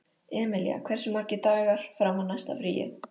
Emilía, hversu margir dagar fram að næsta fríi?